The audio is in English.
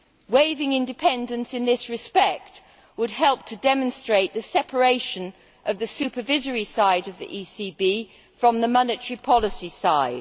Waiving independence in this respect would help to demonstrate the separation of the supervisory side of the ECB from the monetary policy side.